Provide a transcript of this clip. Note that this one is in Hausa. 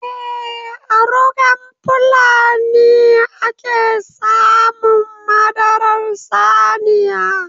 Eh, a rugan fulani a ke samun madarar saniya.